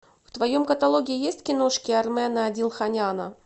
в твоем каталоге есть киношки армена адилханяна